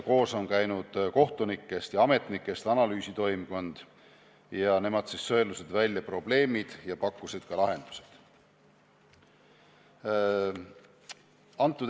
Koos on käinud kohtunikest ja ametnikest analüüsitoimkond, nemad sõelusid välja probleemid ja pakkusid ka lahendused.